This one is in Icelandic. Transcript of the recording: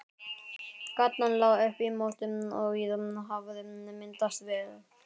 Gatan lá upp í móti og víða hafði myndast svell.